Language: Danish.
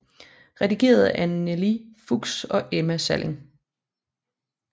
Redigeret af Anneli Fuchs og Emma Salling